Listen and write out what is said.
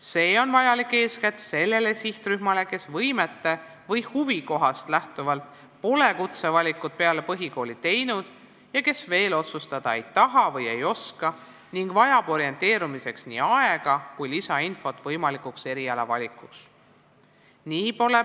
See on vajalik eeskätt sellele sihtrühmale, kes võimetest või huvist lähtuvalt pole peale põhikooli kutsevalikut teinud, ta ei taha või oska veel otsustada ning vajab orienteerumiseks nii aega kui ka lisainfot.